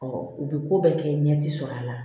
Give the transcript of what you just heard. u bɛ ko bɛɛ kɛ ɲɛti sɔrɔ a la